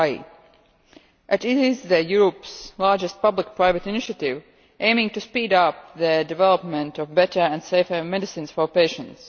It is Europe's largest public private initiative aiming to speed up the development of better and safer medicines for patients.